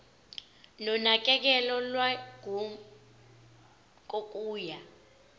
nonakekelo lwangemuva kokuya